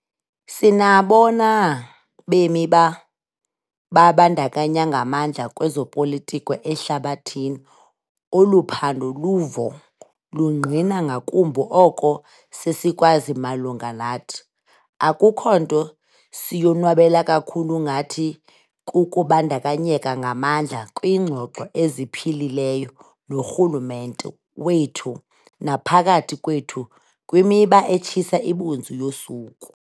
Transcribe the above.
Sinabona bemi babandakanyeka ngamandla kwezopolitiko ehlabathini. Olu phando luvo lungqina ngakumbi oko sesikwazi malunga nathi. Akukho nto siyonwabela kakhulu ngathi kukubandakanyeka ngamandla kwingxoxo eziphilileyo norhulumente wethu naphakathi kwethu kwimiba etshisa ibunzi yosuku.